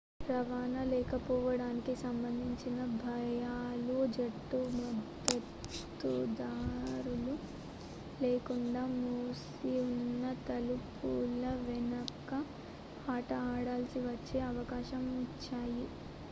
రవాణా లేకపోవడానికి సంబంధించిన భయాలు జట్టు మద్దతుదారులు లేకుండా మూసిఉన్న తలుపుల వెనుక ఆట ఆడాల్సి వచ్చే అవకాశం ఇచ్చాయి